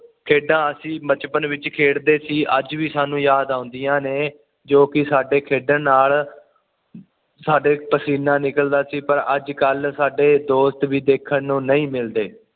ਖੇਡਾਂ ਅਸੀਂ ਬਚਪਨ ਵਿੱਚ ਖੇਡਦੇ ਸੀ ਅੱਜ ਵੀ ਸਾਨੂੰ ਯਾਦ ਆਉਦੀਆਂ ਨੇ ਜੋ ਕਿ ਸਾਡੇ ਖੇਡਣ ਨਾਲ ਸਾਡਾ ਪਸੀਨਾ ਨਿਕਲਦਾ ਸੀ ਪਰ ਅੱਜ ਕੱਲ ਸਾਡੇ ਦੋਸਤ ਵੀ ਦੇਖਣ ਨੂੰ ਨਹੀਂ ਮਿਲਦੇ